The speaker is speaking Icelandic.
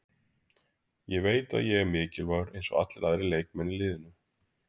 Ég veit að ég er mikilvægur, eins og allir aðrir leikmenn í liðinu.